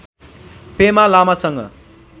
पेमा लामासँग